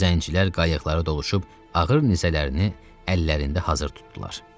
Zəncilər qayıqları doluşub ağır nizələrini əllərində hazır tutdular.